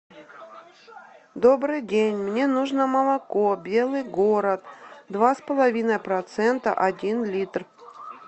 добрый день мне нужно молоко белый город два с половиной процента один литр